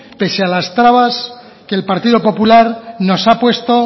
pese a las trabas que el partido popular nos ha puesto